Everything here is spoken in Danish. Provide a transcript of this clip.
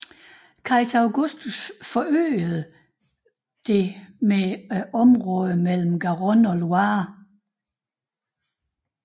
Kejser Augustus forøgede det med området mellem Garonne og Loire